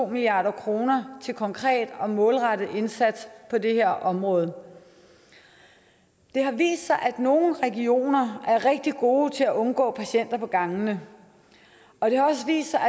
milliard kroner til konkret og målrettet indsats på det her område det har vist sig at nogle regioner er rigtig gode til at undgå patienter på gangene og det har også vist sig